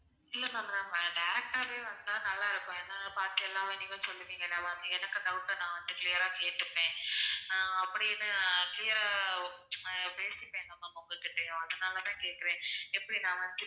இல்ல ma'am நான் direct டாவே வந்தா நல்லா இருக்கும் ஏன்னா பாத்தீங்கன்னா நீங்க சொல்லுவீங்க எனக்கு doubt ட நான் வந்து clear ரா கேட்டுப்பேன் அப்படின்னு clear ரா பேசிப்பேன்ல ma'am உங்ககிட்டயும் அதனால தான் கேக்குறேன் எப்படி நான் வந்து